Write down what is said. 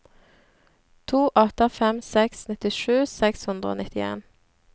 to åtte fem seks nittisju seks hundre og nittien